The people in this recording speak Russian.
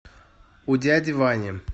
у дяди вани